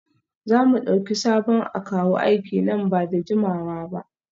Za mu dauki sabon akawu aiki nan ba da jimawa ba?